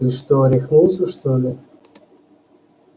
ты что рехнулся что ли